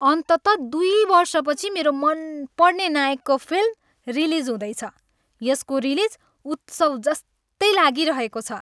अन्ततः दुई वर्षपछि मेरो मनपर्ने नायकको फिल्म रिलिज हुँदैछ, यसको रिलिज उत्सव जस्तै लागिरहेको छ।